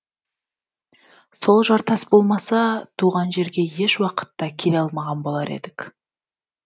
сол жартас болмаса туған жерге еш уақытта келе алмаған болар едік